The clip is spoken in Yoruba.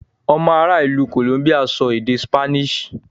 Ọmọ ará ìlú Columbia ń sọ èdè Spanish.